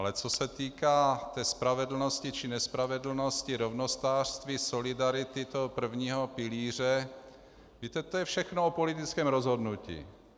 Ale co se týká té spravedlnosti či nespravedlnosti, rovnostářství, solidarity toho prvního pilíře, víte, to je všechno o politickém rozhodnutí.